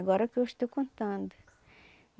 Agora que eu estou contando.